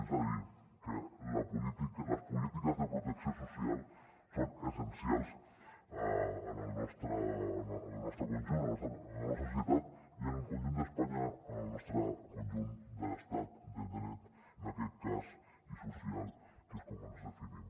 és a dir que les polítiques de protecció social són essencials en el nostre conjunt en la nostra societat i en el conjunt d’espanya en el nostre conjunt d’estat de dret en aquest cas i social que és com ens definim